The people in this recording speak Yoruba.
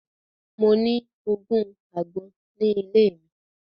Mo ní ogún àgbọn ogun ni ile mi